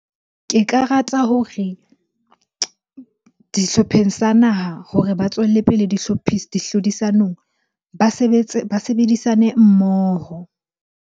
Ke ka rata hore dihlopheng sa naha hore ba tswelle pele dihlodisanong ba sebetse, ba sebedisane mmoho.